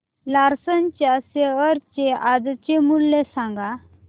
Larsen च्या share चे आजचे मूल्य सांगा